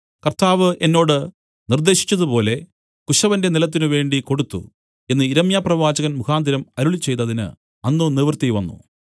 കർത്താവ് എന്നോട് നിർദ്ദേശിച്ചതുപോലെ കുശവന്റെ നിലത്തിന് വേണ്ടി കൊടുത്തു എന്നു യിരെമ്യാപ്രവാചകൻ മുഖാന്തരം അരുളിച്ചെയ്തതിന് അന്ന് നിവൃത്തിവന്നു